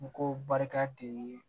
N ko barika de ye